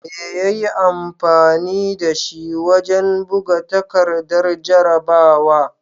Me ya yi amfani da shi wajen buga takardar jarrabawa?